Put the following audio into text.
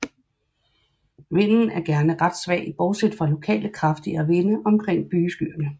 Vinden er gerne ret svag bortset fra lokale kraftigere vinde omkring bygeskyerne